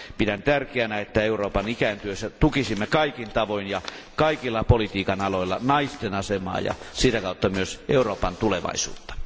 Pidän tärkeänä, että Euroopan ikääntyessä tukisimme kaikin tavoin ja kaikilla politiikan aloilla naisten asemaa ja sitä kautta myös Euroopan tulevaisuutta!